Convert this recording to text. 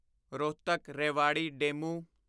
Rohtak Rewari DEMU